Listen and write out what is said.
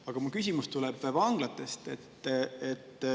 Aga mu küsimus tuleb vanglate kohta.